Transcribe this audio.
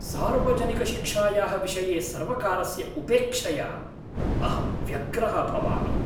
सार्वजनिकशिक्षायाः विषये सर्वकारस्य उपेक्षया अहं व्यग्रः भवामि।